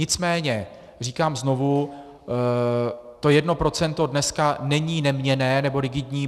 Nicméně říkám znovu, to jedno procento dneska není neměnné nebo rigidní.